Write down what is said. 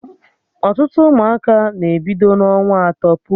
Ọtụtụ ụmụaka na-ebido n'ọnwa atọ puwe eze